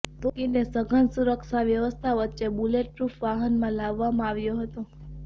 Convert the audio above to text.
તૌકીરને સઘન સુરક્ષા વ્યવસ્થા વચ્ચે બુલેટપ્રુફ વાહનમાં લાવવામાં આવ્યો હતો